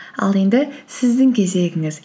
ал енді сіздің кезегіңіз